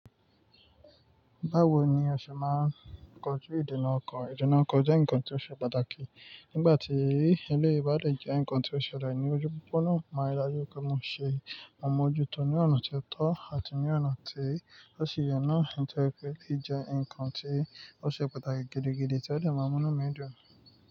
Báwo ni o ṣe máa ń kojú ìdena ọkọ? Ìdena ọkọ jẹ́ nǹkan tí ó ṣe pàtàkì. Nígbà tí eléyi bá lè jẹ́ ǹkan tí ó ṣẹlẹ̀ ní ojú gbogbo náà, mo rí dájú pé mo ṣe mo mojútò ní ọ̀nà tí ó tọ́ àti ní ọ̀nà tí ó sì ye na Ǹjẹ́ pé lè jẹ́ ǹkan tí ó ṣe pàtàkì gidi, gidi tí ó lè mú ọmọ náà dùn.